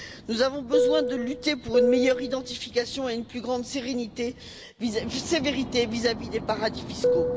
Nous avons besoin de lutter pour une meilleure identification et une plus grande sévérité vis à vis des paradis fiscaux.